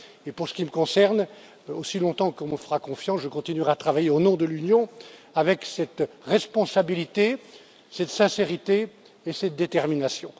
Et pour ce qui me concerne, aussi longtemps qu'on me fera confiance, je continuerai à travailler au nom de l'Union, avec cette responsabilité, cette sincérité et cette détermination.